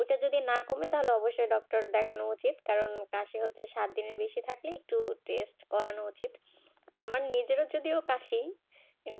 এতে যদি না কমে তাহলে অবশ্যই ডাক্তার দেখানো উচিত কারণ কাশি হচ্ছে সাব ধানে থাকলে একটা টেস্ট করানো উচিত আমার নিজের